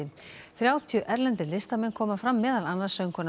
þrjátíu erlendir listamenn koma fram meðal annars söngkonan